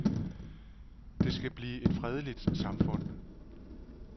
Det skal blive et fredeligt samfund.